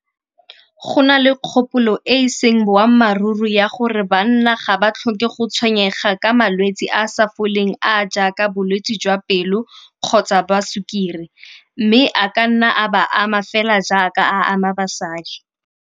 Go na le kgopolo e e seng boammaaruri ya gore banna ga ba tlhoke go tshwenyega ka malwetsi a a sa foleng a a jaaka bolwetsi jwa pelo kgotsa ba sukiri. Mme a ka nna a ba ama fela jaaka a ama basadi.